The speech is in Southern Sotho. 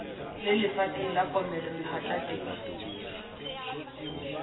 le lefatsheng la komello mahwatateng